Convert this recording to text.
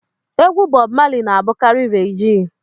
Egwu Bọb Mali na-abụkarị regee